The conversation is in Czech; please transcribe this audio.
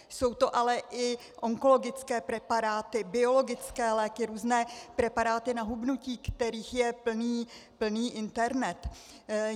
Jsou to ale i onkologické preparáty, biologické léky, různé preparáty na hubnutí, kterých je plný internet.